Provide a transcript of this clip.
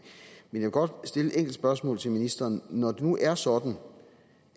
men jeg vil godt stille et enkelt spørgsmål til ministeren når det nu er sådan